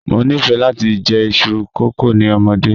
Mo nifẹ lati jẹ iṣu kókò ni ọmọde.